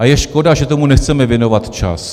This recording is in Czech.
A je škoda, že tomu nechceme věnovat čas.